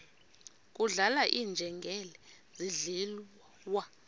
kudlala iinjengele zidliwa